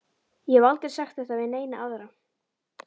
Ég hef aldrei sagt þetta við neina aðra.